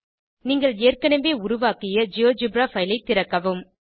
நீங்கள் ஏற்கனவே உருவாக்கிய ஜியோஜெப்ரா பைல் ஐ திறக்கவும்